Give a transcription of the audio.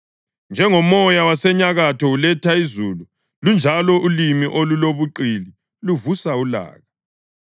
Njengomoya wasenyakatho uletha izulu, lunjalo ulimi olulobuqili luvusa ulaka.